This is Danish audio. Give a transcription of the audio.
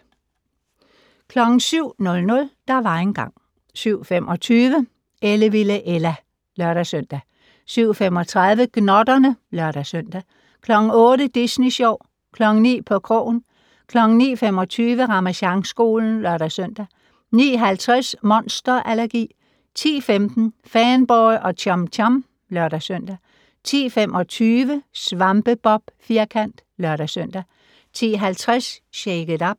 07:00: Der var engang ... 07:25: Ellevilde Ella (lør-søn) 07:35: Gnotterne (lør-søn) 08:00: Disney Sjov 09:00: På krogen 09:25: Ramasjangskolen (lør-søn) 09:50: Monster allergi 10:15: Fanboy og Chum Chum (lør-søn) 10:25: SvampeBob Firkant (lør-søn) 10:50: Shake it up!